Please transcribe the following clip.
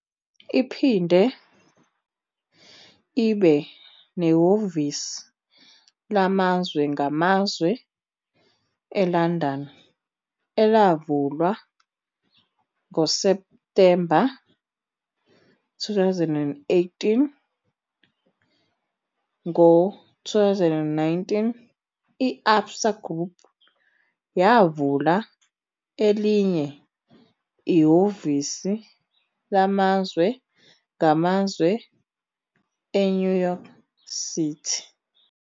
Iphinde ibe nehhovisi lamazwe ngamazwe eLondon, elavulwa ngoSepthemba 2018. Ngo-2019, i-Absa Group yavula elinye ihhovisi lamazwe ngamazwe eNew York City.